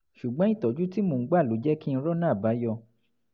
ṣùgbọ́n ìtọ́jú tí mò ń gbà ló jẹ́ kí n rọ́nà àbáyọ